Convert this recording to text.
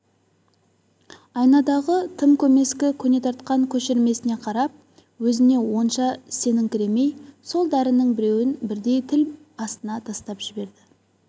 айнадағы тым көмескі көне тартқан көшірмесіне қарап өзіне онша сеніңкіремей сол дәрінің екеуін бірдей тіл астына тастап жіберді